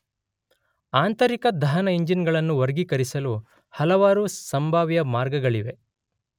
ಆಂತರಿಕ ದಹನ ಇಂಜಿನ್ ಗಳನ್ನು ವರ್ಗೀಕರಿಸಲು ಹಲವಾರು ಸಂಭಾವ್ಯ ಮಾರ್ಗಗಳಿವೆ.